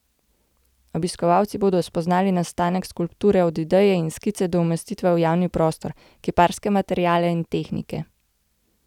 Obiskovalci bodo spoznali nastanek skulpture od ideje in skice do umestitve v javni prostor, kiparske materiale in tehnike.